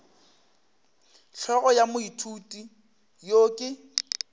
hlogo ya moithuti yo ke